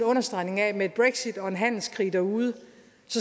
understregning af at med et brexit og en handelskrig derude